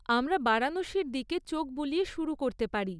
আমরা বারাণসীর দিকে চোখ বুলিয়ে শুরু করতে পারি।